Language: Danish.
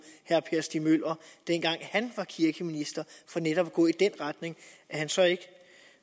herre per stig møller dengang han var kirkeminister for netop at gå i den retning at han så ikke